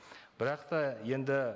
бірақ та енді